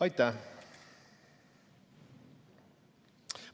Aitäh!